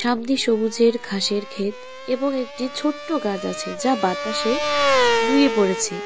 সামনে সবুজের ঘাসের ক্ষেত এবং একটি ছোট্ট গাছ আছে যা বাতাসে নুয়ে পড়েছে।